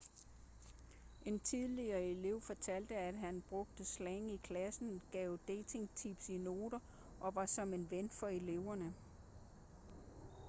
en tidligere elev fortalte at han 'brugte slang i klassen gav dating-tips i noter og var som en ven for eleverne.'